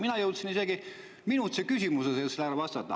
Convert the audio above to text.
Mina jõudsin sellele isegi küsimust vastata.